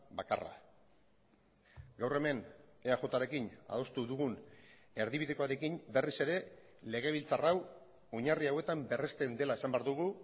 bakarra gaur hemen eajrekin adostu dugun erdibidekoarekin berriz ere legebiltzar hau oinarri hauetan berresten dela esan behar dugu